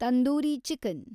tandoori chicken